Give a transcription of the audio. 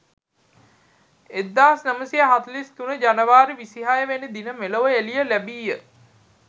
1943 ජනවාරි 26 වෙනි දින මෙලොව එළිය ලැබීය.